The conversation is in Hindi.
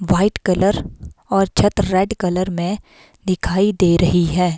व्हाईट कलर और छत रेड कलर में दिखाई दे रही है।